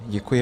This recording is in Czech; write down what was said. Děkuji.